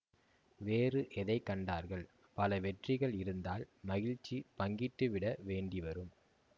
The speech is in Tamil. வேறு எதை கண்டார்கள் பல வெற்றிகள் இருந்தால் மகிழ்ச்சி பங்கிட்டுவிட வேண்டிவரும்